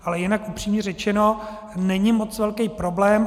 Ale jinak, upřímně řečeno, není moc velký problém.